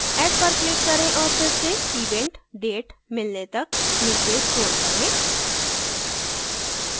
add पर click करें औऱ फिर से event date मिलने तक नीचे scroll करें